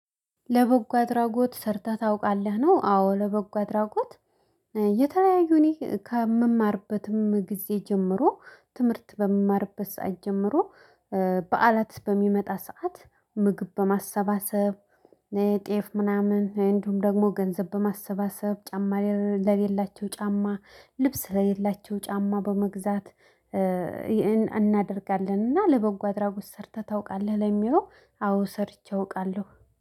ለበጎ አድራጎት ሰርተህ ታውቃለህ ነው? አዎ ለበጎ አድራጎት የተለያዩ እኔ ከምማርበትም ጊዜ ጀምሮ ትምህርት በምማርበት ሰዓት ጀምሮ በዓላት በሚመጣ ሰዓት ምግብ በማሰባሰብ። ጤፍ ምናምን እንዲሁም ደግሞ ገንዘብ በማሰባሰብ ጫማ ለሌላቸው ጫማ ልብስ ለሌላቸው ጫማ በመግዛት እናደርጋለን። እና ለበጎ አድራጎት ሰርተህ ታውቃለህ? ለሚለው አዎ ሰርቼ አውቃለሁ